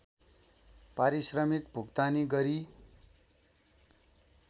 पारिश्रमिक भुक्तानी गरी